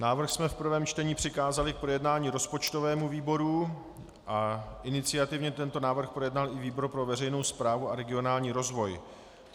Návrh jsme v prvém čtení přikázali k projednání rozpočtovému výboru a iniciativně tento návrh projednal i výbor pro veřejnou správu a regionální rozvoj.